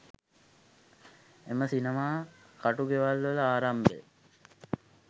එම සිනමා කටුගෙවල්වල ආරම්භය